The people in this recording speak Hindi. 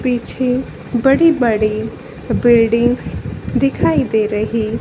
पीछे बड़ी-बड़ी बिल्डिंग्स दिखाई दे रही --